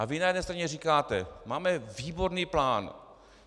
A vy na jedné straně říkáte: Máme výborný plán.